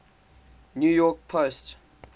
new york post